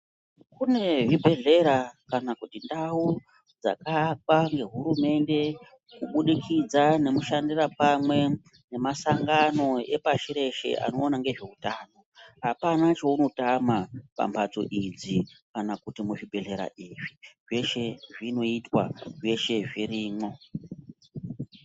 Kune zvibhedhlera kana kuti ndau dzakaakwa nehurumende kubudikidza ngemushandira pamwe kwrmasangano epasi reshe anoona ngezveutano apana chaunotama pamhatso idzi kana kuti kuzvibhedhlera izvi zveshe zvinoitwa zveshe zvirimwo.